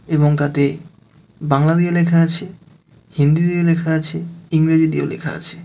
এবং তাতে বাংলা দিয়ে লেখা আছে হিন্দি দিয়ে লেখা আছে ইংরেজি দিয়েও লেখা আছে .